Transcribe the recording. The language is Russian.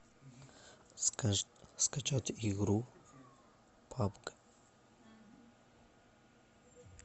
скачать игру папка